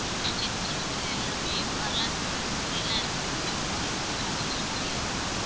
Christian church ல எல்லாமே வரலாற்று story லாம் இருக்கிற மாதிரி ஒவ்வொரு இதுக்குமே ஒவ்வொரு story இருக்கு ma'am